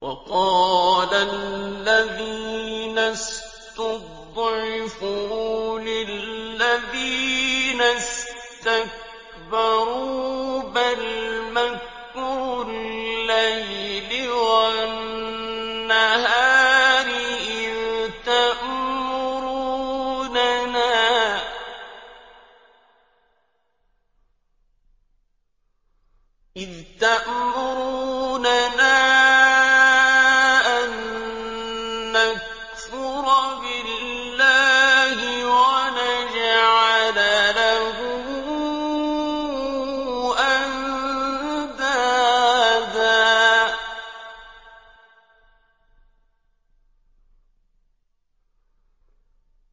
وَقَالَ الَّذِينَ اسْتُضْعِفُوا لِلَّذِينَ اسْتَكْبَرُوا بَلْ مَكْرُ اللَّيْلِ وَالنَّهَارِ إِذْ تَأْمُرُونَنَا أَن نَّكْفُرَ بِاللَّهِ وَنَجْعَلَ لَهُ أَندَادًا ۚ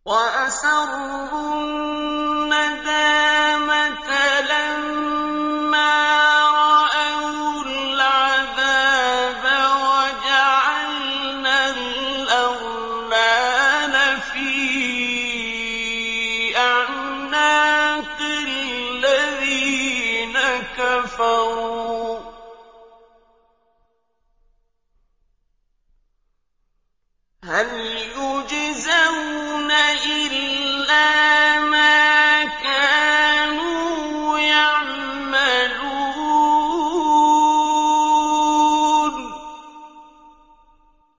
وَأَسَرُّوا النَّدَامَةَ لَمَّا رَأَوُا الْعَذَابَ وَجَعَلْنَا الْأَغْلَالَ فِي أَعْنَاقِ الَّذِينَ كَفَرُوا ۚ هَلْ يُجْزَوْنَ إِلَّا مَا كَانُوا يَعْمَلُونَ